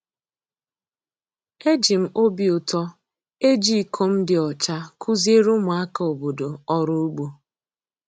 E ji m obi ụtọ eji iko m dị ọcha kuziere ụmụaka obodo ọrụ ugbo.